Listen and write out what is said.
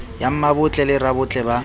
ya mmabotle le rabotle ba